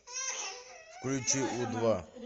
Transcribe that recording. включи у два